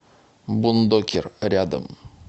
бундокер рядом